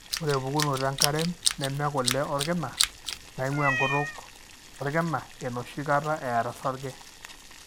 ore pukunoto enkarem neme kule olkina, naingua enkutuk olkina, enoshi kaata eata osarge.